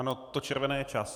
Ano, to červené je čas.